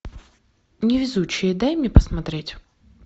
невезучие дай мне посмотреть